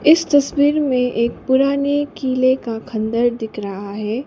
इस तस्वीर में एक पुराने किले का खंडर दिख रहा है।